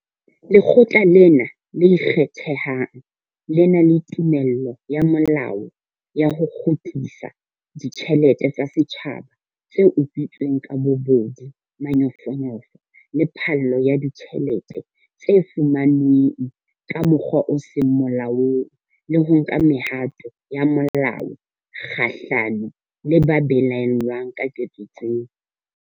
Lekgotla lena le ikgethang le na le tumello ya molao ya ho kgutlisa ditjhelete tsa setjhaba tse utswitsweng ka bobodu, manyofonyofo le phallo ya ditjhelete tse fumanweng ka mokgwa o seng molaong, le ho nka mehato ya molao kgahlano le ba belaellwang ka ketso tseo.